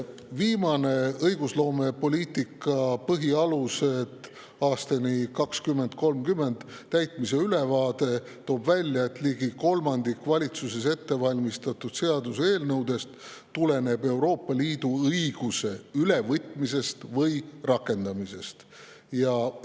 Viimane "Õigusloomepoliitika põhialused aastani 2030" täitmise ülevaade toob välja, et ligi kolmandik valitsuses ettevalmistatud seaduseelnõudest tuleneb Euroopa Liidu õiguse ülevõtmise või rakendamise.